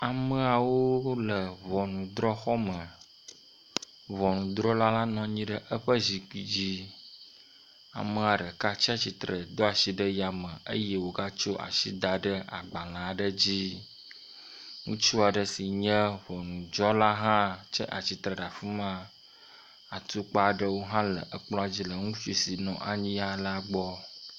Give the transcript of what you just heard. Ame atɔ aɖewo wo le exɔ me. Exɔ si me USAtɔwo ƒe flaga le kea me eve nɔ anyi. Ame etɔ̃ wotsia tsitre. Ame etɔ̃ si tsi atsitre la wo dometɔ ɖeka kpla si ɖe megbe. Ame ɖeka kɔ asi dzi nɔ ame ɖekayi ke le agbale le asi kpɔm.